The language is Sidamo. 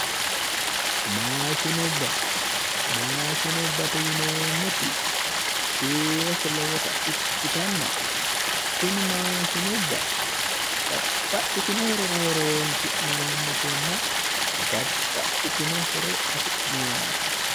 Maashinubba. Maashinubba yineemmoti kiirose lowota ikkitanna tini maashinubba babbaxxitino horora horonsi'neemmotenna babbaxxitino horo afi'neemmote